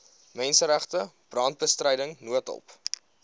menseregte brandbestryding noodhulp